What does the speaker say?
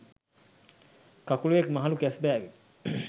කකුළුවෙක් මහළු කැස්බෑවෙක්